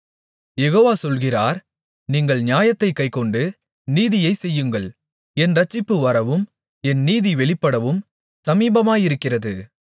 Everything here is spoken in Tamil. யெகோவா சொல்கிறார் நீங்கள் நியாயத்தைக் கைக்கொண்டு நீதியைச் செய்யுங்கள் என் இரட்சிப்பு வரவும் என் நீதி வெளிப்படவும் சமீபமாயிருக்கிறது